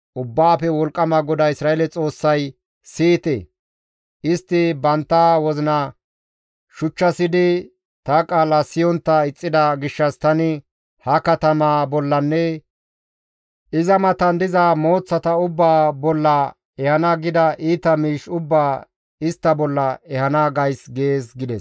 Ubbaafe Wolqqama GODAA Isra7eele Xoossay, ‹Siyite! Istti bantta wozina shuchchasidi ta qaala siyontta ixxida gishshas tani ha katamaa bollanne iza matan diza mooththata ubbaa bolla ehana gida iita miish ubbaa istta bolla ehana gays› gees» gides.